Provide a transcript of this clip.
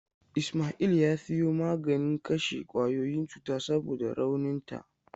Ismail ya siyo maganin kashe kwayoyin cuta saboda rauninta.